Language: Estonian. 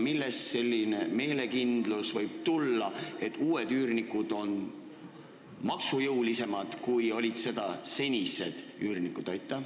Millest võib tulla meelekindlus, et uued üürnikud on maksujõulisemad, kui on olnud senised üürnikud?